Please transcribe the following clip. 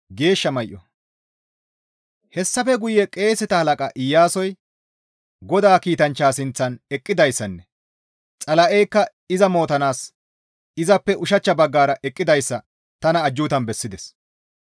Hessafe guye qeeseta halaqa Iyaasoy GODAA kiitanchchaa sinththan eqqidayssanne Xala7eykka iza mootanaas izappe ushachcha baggara eqqidayssa tana ajjuutan bessides.